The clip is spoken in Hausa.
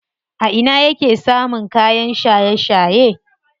A ina yake samun kayan shaye shaye?